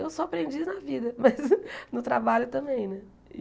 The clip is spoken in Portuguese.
Eu sou aprendiz na vida, mas no trabalho também né.